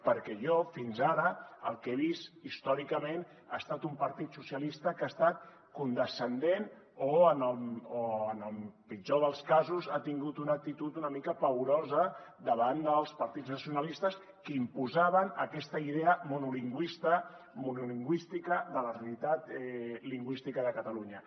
perquè jo fins ara el que he vist històricament ha estat un partit socialista que ha estat condescendent o en el pitjor dels casos ha tingut una actitud una mica paorosa davant dels partits nacionalistes que imposaven aquesta idea monolingüística de la realitat lingüística de catalunya